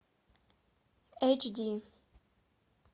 эйч ди